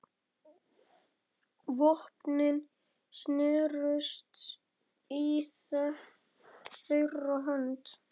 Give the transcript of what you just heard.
Vopnin snerust í þeirra höndum.